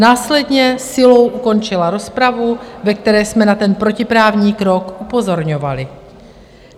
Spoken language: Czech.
Následně silou ukončila rozpravu, ve které jsme na ten protiprávní krok upozorňovali.